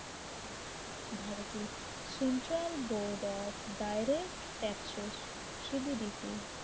ভারতের central board of direct taxes সিবিডিটি